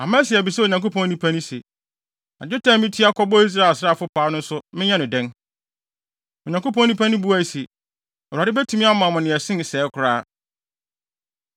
Amasia bisaa Onyankopɔn nipa no se, “Na dwetɛ a mitua kɔbɔɔ Israel asraafo paa no nso menyɛ no dɛn?” Onyankopɔn nipa no buae se, “ Awurade betumi ama wo nea ɛsen sɛɛ koraa.”